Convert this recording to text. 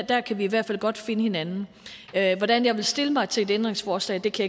der kan vi i hvert fald godt finde hinanden hvordan jeg vil stille mig til et ændringsforslag kan